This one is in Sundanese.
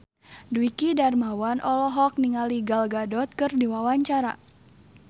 Dwiki Darmawan olohok ningali Gal Gadot keur diwawancara